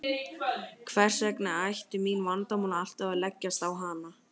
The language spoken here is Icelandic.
Hvers vegna ættu mín vandamál alltaf að leggjast á hana.